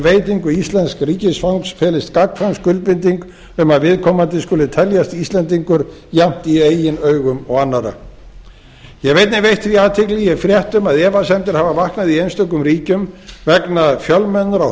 veitingu íslensks ríkisfangs felist gagnkvæm skuldbinding um að viðkomandi skuli teljast íslendingur jafnt í eign augum og annarra ég hef einnig veitt því athygli ég hef frétt um að efasemdir hafa vaknað í einstökum ríkjum vegna fjölmennra